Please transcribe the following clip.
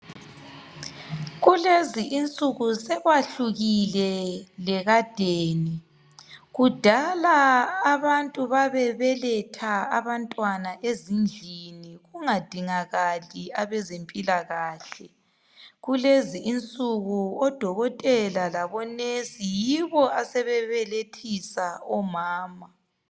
Kulezi insuku sokwahlukile lekadeni kudala abantu babebeletha abantwana ezindlini kungadingakali abezempilakahle kulezi insuku odokotela labonesi yibo asebebelethisa omama